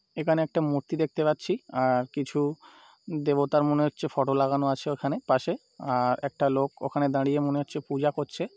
এখানে একটা মূর্তি দেখতে পাচ্ছি আর কিছু দেবতার মনে হচ্ছে ফটো লাগানো আছে ওখানে পাশে আর একটা লোকদাড়িয়ে মনে হচ্ছে পূজা করছে।